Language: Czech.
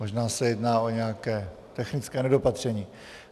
Možná se jedná o nějaké technické nedopatření.